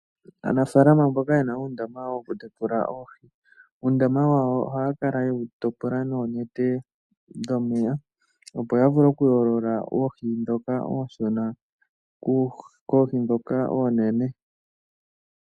Aanafaalama mboka yena uundama wokutekula oohi, uundama wawo ohaya kala yewu topola noonete dhomeya opo yavule okuyoolola oohi dhoka ooshona koohi dhoka oonene.